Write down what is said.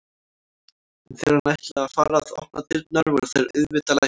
En þegar hann ætlaði að fara að opna dyrnar voru þær auðvitað læstar.